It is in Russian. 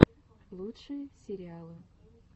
лучшие сериалы